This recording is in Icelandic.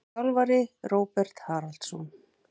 Þjálfari: Róbert Haraldsson.